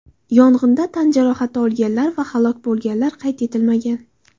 Yong‘inda tan jarohati olganlar va halok bo‘lganlar qayd etilmagan.